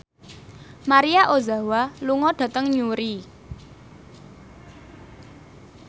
Maria Ozawa lunga dhateng Newry